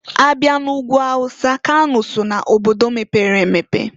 Abịa n'Ugwu Hausa, kano so na obodo mepere emepe.